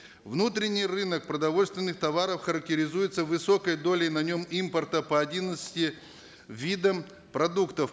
внутренний рынок продовольственных товаров характеризуется высокой долей на нем импорта по одиннадцати видам продуктов